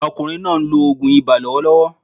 Ọkùnrin náà ń lo ògùn ibà lọ́wọ́lọ́wọ́